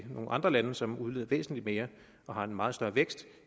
nogle andre lande som udleder væsentlig mere og har en meget større vækst